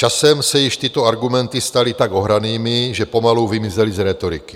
Časem se již tyto argumenty staly tak ohranými, že pomalu vymizely z rétoriky.